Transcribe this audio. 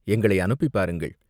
எங்களை அனுப்பிப் பாருங்கள்!